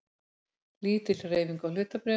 Lítil hreyfing á hlutabréfum